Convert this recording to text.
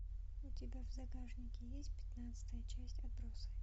у тебя в загашнике есть пятнадцатая часть отбросы